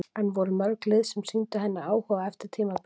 En voru mörg lið sem sýndu henni áhuga eftir tímabilið?